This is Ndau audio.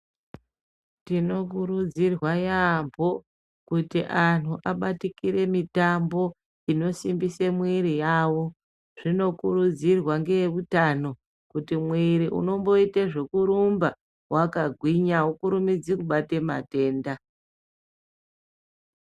Tinokurudzirwa yambo, kuti anhu abatikire mitambo inosimbise mwiri yawo. Zvinokurudzirwa ngeyehutano kuti mwiri unomboite zokuromba wakagwinya awukurumidzi kubate matenda.